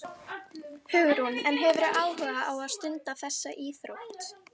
Hugrún: En hefurðu áhuga á að stunda þessa íþrótt?